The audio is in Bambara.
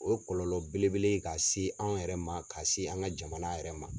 O kɔlɔlɔ bele bele ye ka se an yɛrɛ ma ka se an ka jamana yɛrɛ ma.